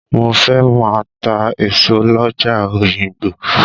Mo fẹ́ máa ta èso lọ́jà Òyìngbò.